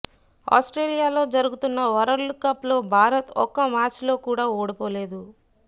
Australia లో జరుగుతున్న world cup లో భారత్ ఒక్క మ్యాచ్ లో కూడా ఓడిపోలేదు